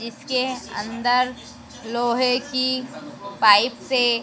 इसके अंदर लोहे की पाइप से--